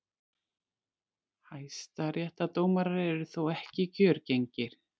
Hæstaréttardómarar eru þó ekki kjörgengir.